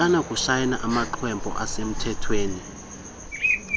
akanakusayina amaxhwebhu asemthethweni